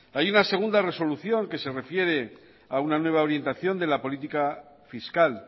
hay una segunda resolución que se refiere a una nueva orientación de la política fiscal